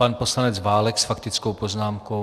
Pan poslanec Válek s faktickou poznámkou.